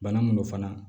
Bana mun don fana